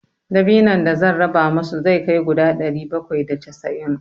Dabinon da zan raba musu zai kai guda ɗari bakwai da casa'in.